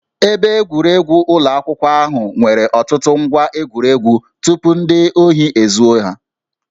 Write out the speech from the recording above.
Ebe egwuregwu ụlọ akwụkwọ ahụ nwere ọtụtụ ngwá egwuregwu tupu ndị ohi ezuo ha